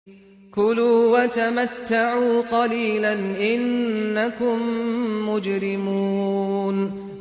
كُلُوا وَتَمَتَّعُوا قَلِيلًا إِنَّكُم مُّجْرِمُونَ